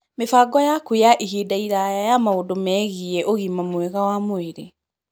Mĩbango yaku ya ihinda iraya ya maũndũ megiĩ ũgima mwega wa mwĩrĩ